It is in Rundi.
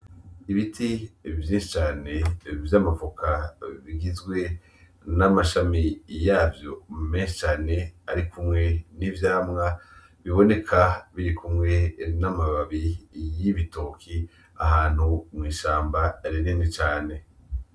Ibiti vyinshi cane vy'amavoka bigizwe n'amashami yavyo menshi cane arikumwe n'ivyamwa biboneka birikumwe n'amababi y'ibitoki ahantu mw'ishamba rinini cane.